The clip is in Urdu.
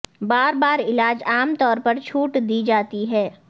بار بار علاج عام طور پر چھوٹ دی جاتی ہے